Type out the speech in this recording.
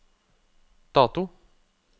dato